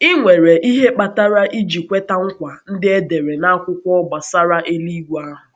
Ị nwere ihe kpatara iji kweta nkwa ndị e dere n’akwụkwọ gbasara eluigwe ahụ.